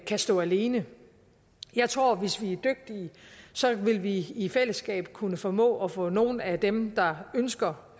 kan stå alene jeg tror at hvis vi er dygtige vil vi i fællesskab kunne formå at få nogle af dem der ønsker